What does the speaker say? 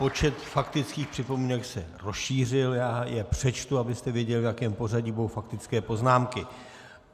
Počet faktických připomínek se rozšířil, já je přečtu, abyste věděli, v jakém pořadí budou faktické poznámky.